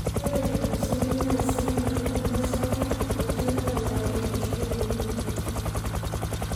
Ore lelo seli naa seli loibor losarge niche oyau enkishiunoto.